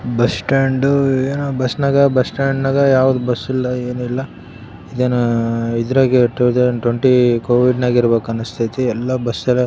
bus stand ಏನೋ bus ನಾಗ bus stand ಯಾವುದು ಬಸ್ ಇಲ್ಲ ಏನಿಲ್ಲ ಏನೋ ಇದ್ರಾಗೆ ಟೂ ತೌಸಂಡ್ ಟ್ವೆಂಟಿ ಕೋವಿಡ್ ನಾಗೇ ಇರ್ಬೇಕು ಅನಿಸ್ತಾಯಿತಿ ಎಲ್ಲ ಬಸ್ ಎಲ್ಲ.--